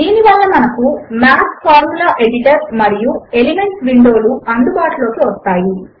దీని వలన మనకు మాత్ ఫార్ములా ఎడిటర్ మరియు ఎలిమెంట్స్ విండో లు అందుబాటులోకి వస్తాయి